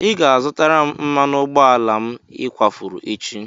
Ị ga-azụtara m mmanụ ụgbọala m ị kwafuru echi!